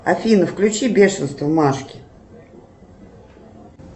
афина включи бешенство машки